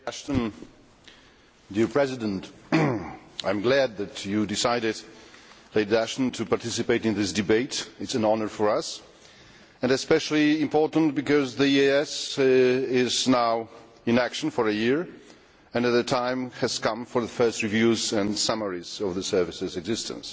Mr President, I am glad that Lady Ashton decided to participate in this debate. It is an honour for us and especially important because the EEAS has now been in action for a year and the time has come for the first reviews and summaries of the Service's existence.